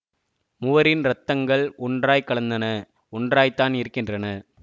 முவரின் ரத்தங்கள் ஒன்றாய்க் கலந்தன ஒன்றாய்த்தான் இருக்கின்றன